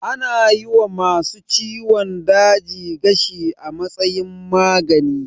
Ana yi wa ma su ciwon daji gashi a matsayin magani